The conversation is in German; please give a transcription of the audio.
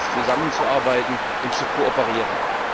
Es gilt jetzt zusammenzuarbeiten und zu kooperieren.